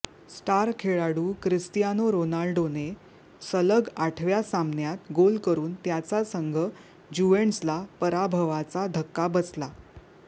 star खेळाडू Cristiano रोनाल्डोने सलग आठव्या सामन्यात गोल करुन त्याचा संघ ज्युव्हेंटसला पराभवाचा धक्का बसला